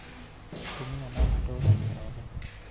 atumia nomatoranĩe othe